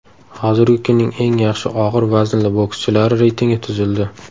Hozirgi kunning eng yaxshi og‘ir vaznli bokschilari reytingi tuzildi.